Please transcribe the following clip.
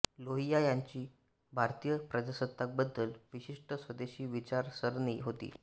लोहिया यांची भारतीय प्रजासत्ताकाबद्दल विशिष्ट स्वदेशी विचारसरणी होती